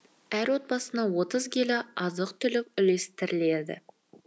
әр отбасына отыз келі азық түлік үлестіріледі